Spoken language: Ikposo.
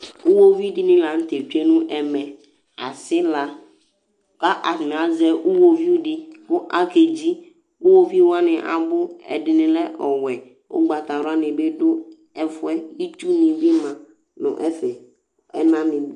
iwoviu dɩnɩ lanʊtɛ kɔ nʊ ɛmɛ, aɣlawoviu, kʊ atanɩ azɛ iwoviu dɩ, akedzi, iwoviuwanɩ abʊ ɛdɩnɩ lɛ ɔwɛ, ugbatawla nɩ bɩ dʊ ɛfʊ yɛ, itsunɩ bɩ ma nʊ ɛfɛ, ɛnanɩ bɩ